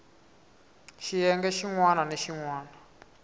xiyenge xin wana ni xin